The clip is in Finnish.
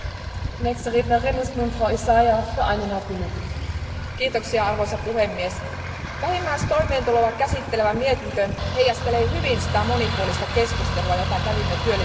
Arvoisa puhemies, vähimmäistoimeentuloa käsittelevä mietintö heijastelee hyvin sitä monipuolista keskustelua, jota kävimme työllisyys ja sosiaaliasioiden valiokunnassa köyhyyden ja syrjäytymisen torjunnasta.